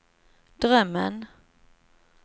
drömmen